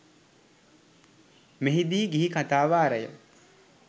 මෙහි දී ගිහි කථා වාරය